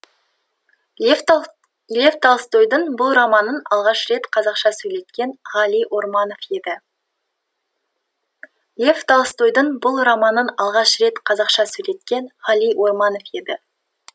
лев толстойдың бұл романын алғаш рет қазақша сөйлеткен ғали орманов еді лев толстойдың бұл романын алғаш рет қазақша сөйлеткен ғали орманов еді